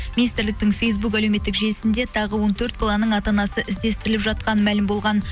министрліктің фейсбук әлеуметтік желісінде тағы он төрт баланың ата анасы іздестіріліп жатқаны мәлім болған